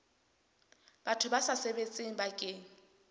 batho ba sa sebetseng bakeng